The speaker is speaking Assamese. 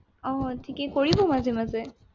আহ ঠিকেই, কৰিব মাজে মাজে।